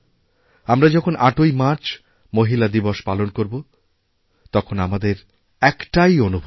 আমরা যখন ৮ই মার্চ মহিলা দিবস পালন করবো তখন আমাদের একটাইঅনুভূতি